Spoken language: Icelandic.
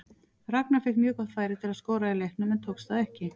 Ragnar fékk mjög gott færi til að skora í leiknum en tókst það ekki.